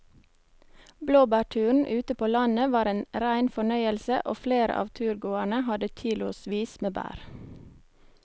Blåbærturen ute på landet var en rein fornøyelse og flere av turgåerene hadde kilosvis med bær.